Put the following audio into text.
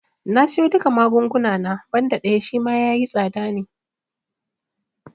Na siyo duka magunguna na, banda ɗaya Shima yayi tsada ne